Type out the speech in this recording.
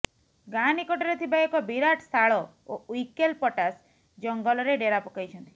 ଗାଁ ନିକଟରେ ଥିବା ଏକ ବିରାଟ ଶାଳ ଓ ଉଇକେଲ ପଟାସ ଜଙ୍ଗଲରେ ଡେରା ପକାଇଛନ୍ତି